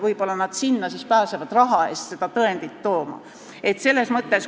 Võib-olla nad sinna pääsevad raha eest seda tõendit saama.